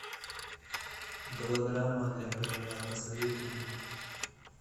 голограмма для короля посоветуй мне